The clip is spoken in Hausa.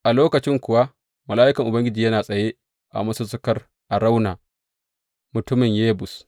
A lokacin kuwa Mala’ikan Ubangiji yana tsaye a masussukar Arauna, mutumin Yebus.